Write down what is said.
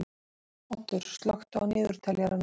Oddur, slökktu á niðurteljaranum.